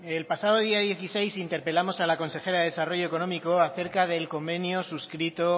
el pasado día dieciséis interpelamos a la consejera de desarrollo económico acerca del convenio subscrito